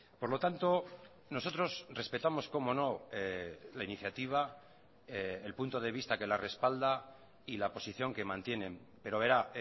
por lo tanto nosotros respetamos cómo no la iniciativa el punto de vista que la respalda y la posición que mantienen pero verá